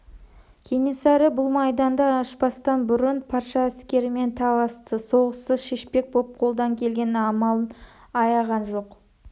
кенесары бұл майданды ашпастан бұрын патша әскерімен таласты соғыссыз шешпек боп қолдан келген амалын аяған жоқ